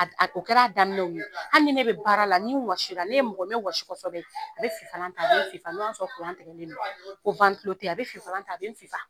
A ko kɛra daminɛw na hali ni ne bɛ baara la ni wɔsi la ne ye mɔgɔ ye n bɛ wɔsi kosɛbɛ bɛ a bɛ ifalan n'o y'a sɔrɔ kuran tigɛlen don ko teyi a bɛ fifalan a bɛ n fifa